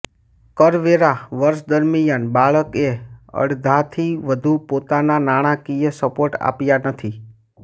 કરવેરા વર્ષ દરમિયાન બાળકએ અડધાથી વધુ પોતાના નાણાંકીય સપોર્ટ આપ્યા નથી